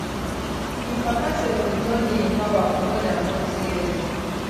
im papa sef bin don dey in power for more dan forty years